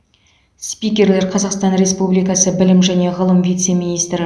спикерлер қазақстан республикасы білім және ғылым вице министрі